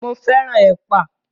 Mo fẹ́ràn ẹ̀pà.